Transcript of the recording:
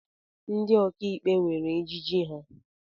Ndị ọkàikpe nwèrè ejiji ha.